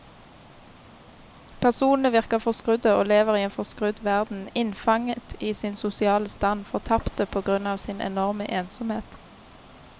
Personene virker forskrudde og lever i en forskrudd verden, innfanget i sin sosiale stand, fortapte på grunn av sin enorme ensomhet.